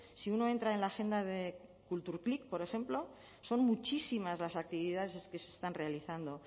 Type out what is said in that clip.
si uno entra en la agenda de kulturklik por ejemplo son muchísimas las actividades que se están realizando